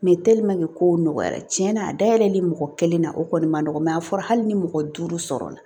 kow nɔgɔyara cɛn na a da yɛlɛli mɔgɔ kelen na o kɔni ma nɔgɔ a fɔra hali ni mɔgɔ duuru sɔrɔla